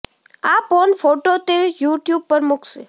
આ porn photo તે YouTube પર મૂકશે